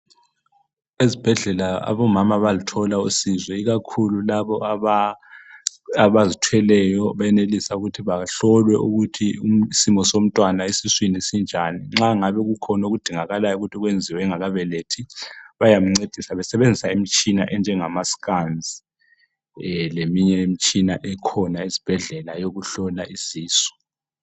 Ezibhedlela omama bayaluthola usizo ikakhulu labo abazithweleyo benelisa ukuthi bahlolwe ukuthi isimo somntwana esiswini sinjani. Nxa kungabe kukhona okudingakalayo ukuthi kwenziwe engakabelethi bayamncedisa besebenzisa imitshina enjengama"scans' leminye imitshina ekhona esibhedlela eyokuhlola isisu.